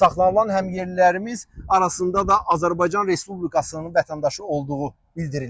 Saxlanılan həmyerlilərimiz arasında da Azərbaycan Respublikasının vətəndaşı olduğu bildirilir.